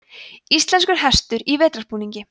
íslenskur hestur í vetrarbúningi